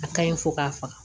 A kaɲi fo k'a faga